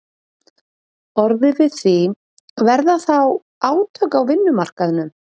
orðið við því, verða þá átök á vinnumarkaðnum?